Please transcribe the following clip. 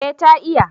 eh ta iya